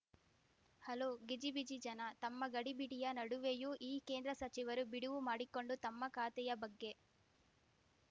hello ಗಿಜಿಬಿಜಿ ಜನ ತಮ್ಮ ಗಡಿಬಿಡಿಯ ನಡುವೆಯೂ ಈ ಕೇಂದ್ರ ಸಚಿವರು ಬಿಡುವು ಮಾಡಿಕೊಂಡು ತಮ್ಮ ಖಾತೆಯ ಬಗ್ಗೆ